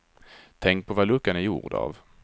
Tänk på vad luckan är gjord av.